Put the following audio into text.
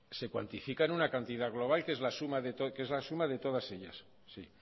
se cuantifica en una cantidad global que es la suma de todas ellas sí